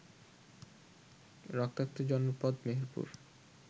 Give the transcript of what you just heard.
রক্তাক্ত জনপদ মেহেরপুর